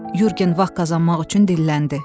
Yurgen vaxt qazanmaq üçün dilləndi.